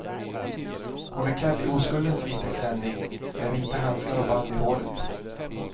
Hon är klädd i oskuldens vita klänning med vita handskar och band i håret.